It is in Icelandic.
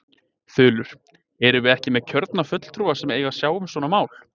Þulur: Erum við ekki með kjörna fulltrúa sem eiga að sjá um svona mál?